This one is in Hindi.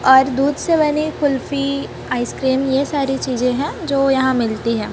और दूध से बनी कुल्फी आइसक्रीम ये सारी चीजें हैं जो यहां मिलती हैं।